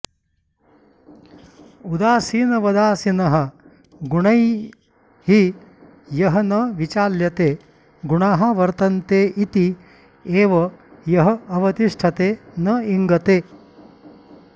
उदासीनवदासीनः गुणैः यः न विचाल्यते गुणाः वर्तन्ते इति एव यः अवतिष्ठते न इङ्गते